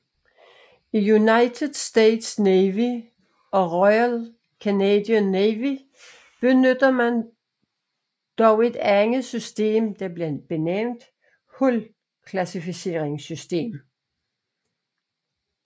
I United States Navy og Royal Canadian Navy benytter man dog et andet system der bliver benævnt Hull Classification System